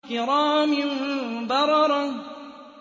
كِرَامٍ بَرَرَةٍ